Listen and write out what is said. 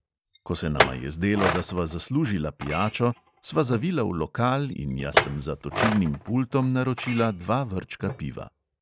Ko se nama je zdelo, da sva zaslužila pijačo, sva zavila v lokal in jaz sem za točilnim pultom naročila dva vrčka piva.